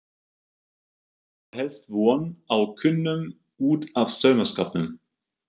Þá var helst von á kúnnum út af saumaskapnum.